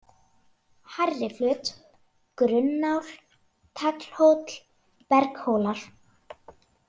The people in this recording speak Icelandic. Hærriflöt, Grunnáll, Taglhóll, Berghólar